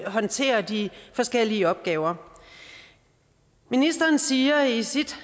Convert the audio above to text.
håndtere de forskellige opgaver ministeren siger i sit